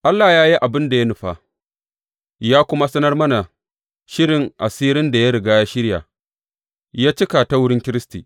Allah ya yi abin da ya nufa, ya kuma sanar mana shirin asirin da ya riga ya shirya yă cika ta wurin Kiristi.